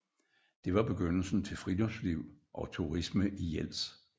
Det var begyndelsen til friluftsliv og turisme i Jels